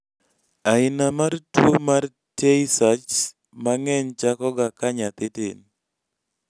aina mar tuwo mar tay sachs mang'eny chakoga ka nyathii tin